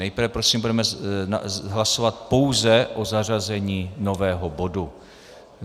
Nejprve prosím budeme hlasovat pouze o zařazení nového bodu.